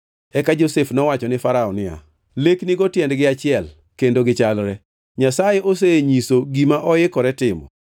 Eka Josef nowacho ne Farao niya, “Leknigo tiendgi achiel kendo gichalre. Nyasaye osenyiso gima oikore timo.